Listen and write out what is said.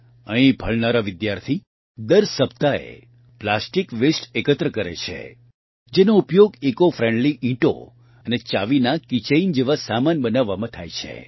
અહીં ભણનારા વિદ્યાર્થી દર સપ્તાહે પ્લાસ્ટીક વેસ્ટ એકત્ર કરે છે જેનો ઉપયોગ ઇકો ફ્રેન્ડલી ઇંટો અને ચાવીનાં કી ચેઇન જેવા સામાન બનાવવામાં થાય છે